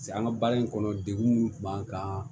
an ka baara in kɔnɔ degun min kun b'an kan